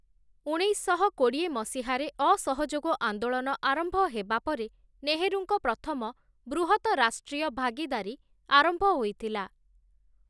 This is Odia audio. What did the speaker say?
ଉଣେଇଶଶହ କୋଡିଏ ମସିହାରେ ଅସହଯୋଗ ଆନ୍ଦୋଳନ ଆରମ୍ଭ ହେବା ପରେ ନେହରୁଙ୍କ ପ୍ରଥମ ବୃହତ ରାଷ୍ଟ୍ରୀୟ ଭାଗିଦାରୀ ଆରମ୍ଭ ହୋଇଥିଲା ।